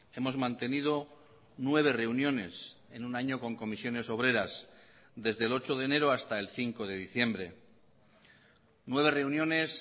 hemos mantenido nueve reuniones en un año con comisiones obreras desde el ocho de enero hasta el cinco de diciembre nueve reuniones